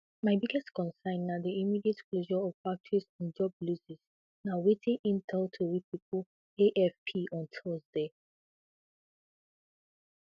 my biggest concern na di immediate closure of factories and job losses na wetin im tell tori pipo afp on thursday